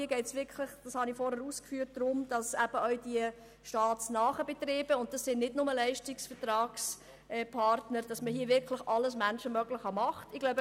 Hier geht es darum, dass auch die staatsnahen Betriebe alles Menschenmögliche unternehmen.